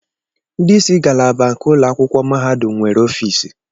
Ndị isi ngalaba nke ụlọ akwụkwọ mahadum nwere ọfiisi